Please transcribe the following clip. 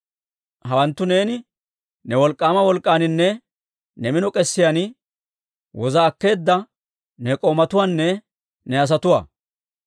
«Hawanttu neeni ne wolk'k'aama wolk'k'aaninne ne mino k'esiyaan woza akkeedda ne k'oomatuwaanne ne asatuwaa.